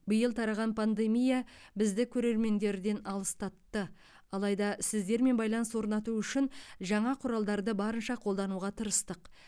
биыл тараған пандемия бізді көрермендерден алыстатты алайда сіздермен байланыс орнату үшін жаңа құралдарды барынша қолдануға тырыстық